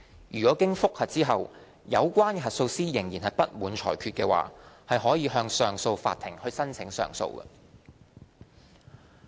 如經覆核後，有關核數師仍不滿裁決，可向上訴法庭申請上訴。